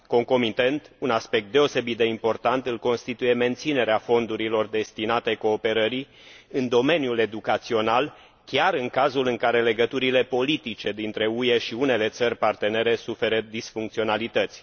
Concomitent, un aspect deosebit de important îl constituie menținerea fondurilor destinate cooperării în domeniul educațional, chiar în cazul în care legăturile politice dintre UE și unele țări partenere suferă disfuncționalități.